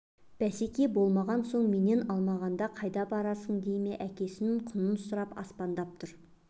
бәсекелес болмаған соң менен алмағанда қайда барасың дей ме әкесінің құнын сұрап аспандап тұр